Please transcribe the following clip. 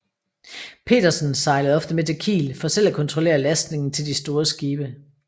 Petersen sejlede ofte med til Kiel for selv at kontrollere lastningen til de store skibe